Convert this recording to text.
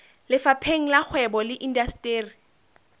lefapheng la kgwebo le indasteri